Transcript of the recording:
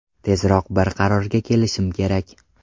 Tezroq bir qarorga kelishim kerak.